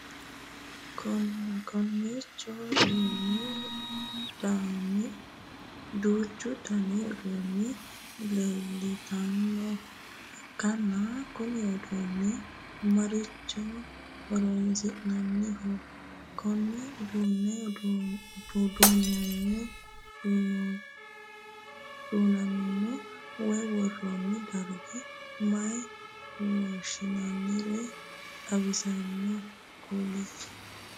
Konnicho duuchu Danni uduunni leeltanoha ikanna kunni uduunni marichira horoonsi'nanniho? Konne uduunu duunamino woyi woroonni darga mayine woshinnanniro xawise kuli?